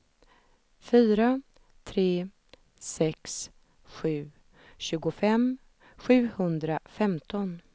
fyra tre sex sju tjugofem sjuhundrafemton